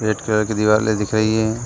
Red colour की दिवरे दिख रही हैं।